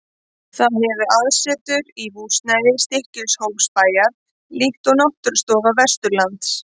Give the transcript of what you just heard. Það hefur aðsetur í húsnæði Stykkishólmsbæjar, líkt og Náttúrustofa Vesturlands.